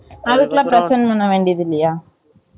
அதுக்குலாம் present பண்ண வேண்டியது இல்லையா